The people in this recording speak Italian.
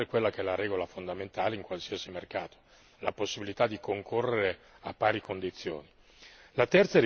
Occorre introdurre quella che è la regola fondamentale in qualsiasi mercato la possibilità di concorrere a pari condizioni.